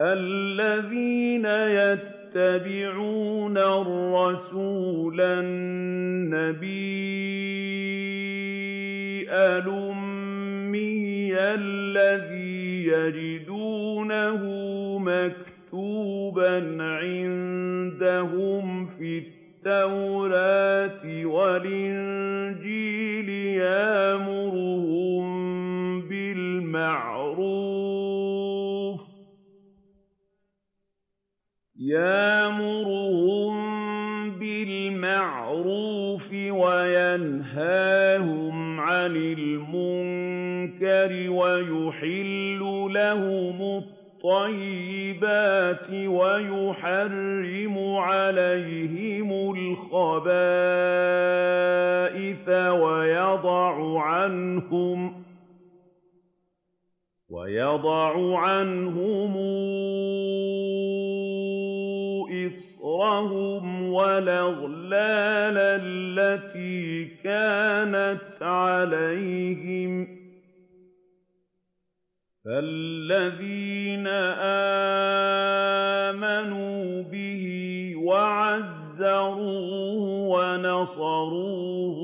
الَّذِينَ يَتَّبِعُونَ الرَّسُولَ النَّبِيَّ الْأُمِّيَّ الَّذِي يَجِدُونَهُ مَكْتُوبًا عِندَهُمْ فِي التَّوْرَاةِ وَالْإِنجِيلِ يَأْمُرُهُم بِالْمَعْرُوفِ وَيَنْهَاهُمْ عَنِ الْمُنكَرِ وَيُحِلُّ لَهُمُ الطَّيِّبَاتِ وَيُحَرِّمُ عَلَيْهِمُ الْخَبَائِثَ وَيَضَعُ عَنْهُمْ إِصْرَهُمْ وَالْأَغْلَالَ الَّتِي كَانَتْ عَلَيْهِمْ ۚ فَالَّذِينَ آمَنُوا بِهِ وَعَزَّرُوهُ وَنَصَرُوهُ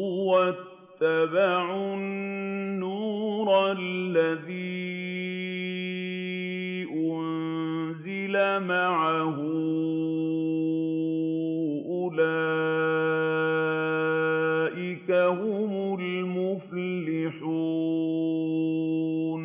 وَاتَّبَعُوا النُّورَ الَّذِي أُنزِلَ مَعَهُ ۙ أُولَٰئِكَ هُمُ الْمُفْلِحُونَ